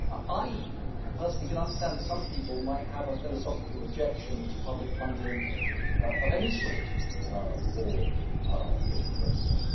I personally can understand that some people might have a philosophical objection to public funding of any sort for the political process.